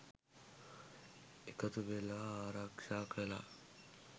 එකතු වෙලා ආරක්ෂා කළා.